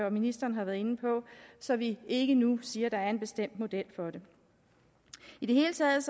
og ministeren har været inde på så vi ikke nu siger at der er en bestemt model for det i det hele taget